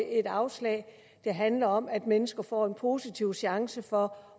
et afslag det handler om at mennesker får en positiv chance for